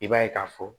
I b'a ye k'a fɔ